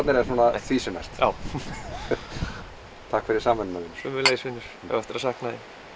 en svona því sem næst já takk fyrir samveruna sömuleiðis vinur ég á eftir að sakna